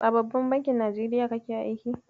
A babban bankin Najeriya kake aiki?